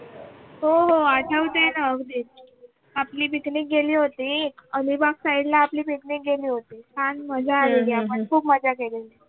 हो हो आठवते नाव देत आपली पिकनिक गेली होती. अलिबाग साइडला आपली भेट घेतली होती. छान मजा आहे आम्ही खूप मज्जा केली.